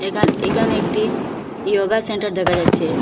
এখান এখানে একটি ইয়োগা সেন্টার দেখা যাচ্চে ।